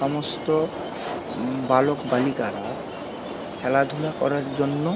সমস্ত উম বালক বালিকারা খেলাধুলা করার জন্য --